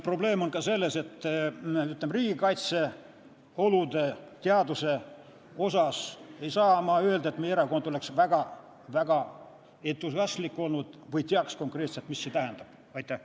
Probleem on ka selles, et ma ei saa öelda, nagu riigikaitse olude asjus oleks meie erakond väga-väga entusiastlik olnud või teaks konkreetselt, mis need tähendavad.